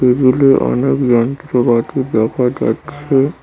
টেবিলে অনেক যন্ত্রপাতি দেখা যাচ্ছে।